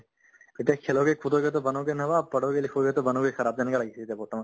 এতিয়া kheloge kudos to banoge nawab padhoge likhoge to banoge kharaab তেনেকুৱা লাগিছে এতিয়া বৰ্তমান